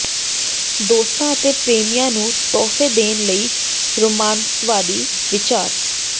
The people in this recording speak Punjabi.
ਦੋਸਤਾਂ ਅਤੇ ਪ੍ਰੇਮੀਆਂ ਨੂੰ ਤੋਹਫ਼ੇ ਦੇਣ ਲਈ ਰੋਮਾਂਸਵਾਦੀ ਵਿਚਾਰ